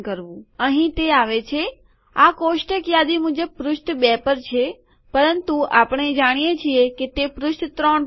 અહીં તે આવે છે આ કોષ્ટક યાદી મુજબ પૃષ્ઠ ૨ પર છે પરંતુ આપણે જાણીએ છીએ કે તે પૃષ્ઠ 3 પર છે